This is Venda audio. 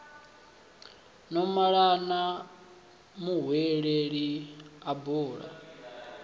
no malana muhweleli a bula